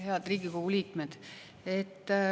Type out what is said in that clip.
Head Riigikogu liikmed!